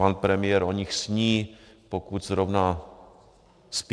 Pan premiér o nich sní, pokud zrovna - spí?